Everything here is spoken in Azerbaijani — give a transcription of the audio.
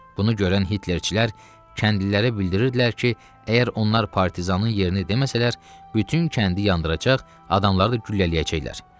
Bunu görən Hitlerçilər kəndlilərə bildirirdilər ki, əgər onlar partizanın yerini deməsələr, bütün kəndi yandıracaq, adamları da güllələyəcəklər.